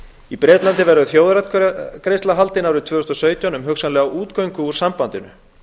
í bretlandi verður þjóðaratkvæðagreiðsla haldin árið tvö þúsund og sautján um hugsanlega útgöngu úr sambandinu